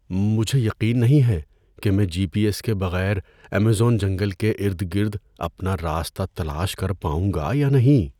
مجھے یقین نہیں ہے کہ میں جی پی ایس کے بغیر ایمیزون جنگل کے ارد گرد اپنا راستہ تلاش کر پاؤں گا یا نہیں۔